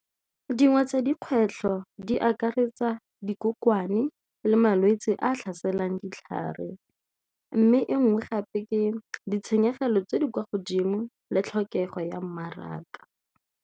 Dingwe tsa dikgwetlho di akaretsa le malwetse a a tlhaselang ditlhare mme e nngwe gape ke ditshenyegelo tse di kwa godimo le tlhokego ya mmaraka.